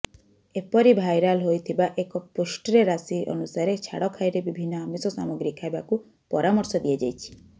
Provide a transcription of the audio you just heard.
ଏପରି ଭାଇରାଲ୍ ହୋଇଥିବା ଏକ ପୋଷ୍ଟ୍ରେ ରାଶି ଅନୁସାରେ ଛାଡ଼ଖାଇରେ ବିଭିନ୍ନ ଆମିଷ ସାମଗ୍ରୀ ଖାଇବାକୁ ପରାମର୍ଶ ଦିଆଯାଇଛି